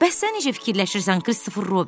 Bəs sən necə fikirləşirsən, Kristofer Robin?